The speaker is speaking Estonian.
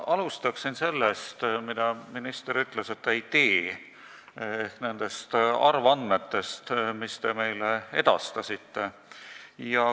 Ma alustan sellest, mille kohta minister ütles, et ta seda ette ei loe, ehk nendest arvandmetest, mis te meile edastasite.